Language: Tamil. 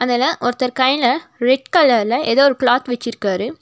இதுல ஒருத்தர் கையில ரெட் கலர்ல ஏதோ ஒரு கிளாத் வச்சிருக்காரு.